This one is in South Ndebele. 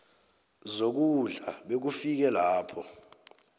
zokudla bekufike lapho